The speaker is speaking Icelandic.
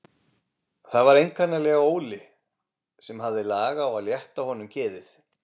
Það var einkanlega Óli sem hafði lag á að létta honum geðið.